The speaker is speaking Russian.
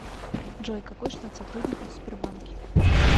джой какой штат сотрудников в сбербанке